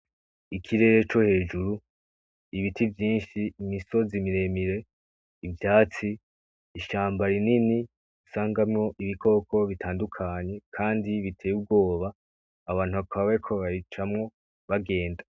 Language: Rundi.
Ikirere co hejuru, ibiti vyinshi, imisozi miremire, ivyatsi, ishamba rinini usangamwo ibikoko bitandukanye kandi biteye ubwoba, abantu bakaba bariko babicamwo bagenda.